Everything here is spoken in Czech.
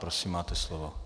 Prosím, máte slovo.